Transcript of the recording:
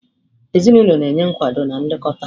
Ezinụlọ na-enye nkwado na nlekọta